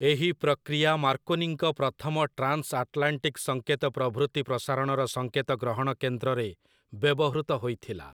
ଏହି ପ୍ରକ୍ରିୟା ମାର୍କୋନିଙ୍କ ପ୍ରଥମ ଟ୍ରାନ୍‌ସଆଟ୍‌ଲାଣ୍ଟିକ୍ ସଙ୍କେତ ପ୍ରଭୃତି ପ୍ରସାରଣର ସଙ୍କେତ ଗ୍ରହଣ କେନ୍ଦ୍ରରେ ବ୍ୟବହୃତ ହୋଇଥିଲା ।